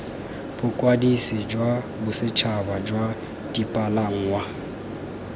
bokwadisi jwa bosetšhaba jwa dipalangwa